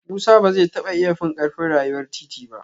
Musa ba zai taba iya fin karfin rayuwar titi ba